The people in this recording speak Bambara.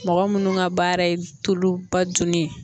Mɔgɔ munnu ka baara ye tuluba dunni ye.